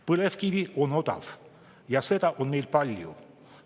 Põlevkivi on odav ja seda on meil palju.